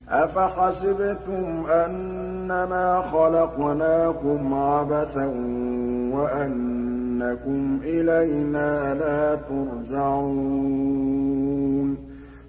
أَفَحَسِبْتُمْ أَنَّمَا خَلَقْنَاكُمْ عَبَثًا وَأَنَّكُمْ إِلَيْنَا لَا تُرْجَعُونَ